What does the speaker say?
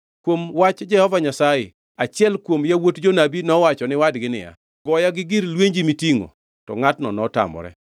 Kuom wach Jehova Nyasaye achiel kuom yawuot jonabi nowacho ni wadgi niya, “Goya gi gir lwenji mitingʼo,” to ngʼatno notamore.